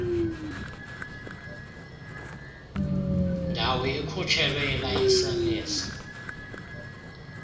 ndawo ikhutshelwe ilayisenisi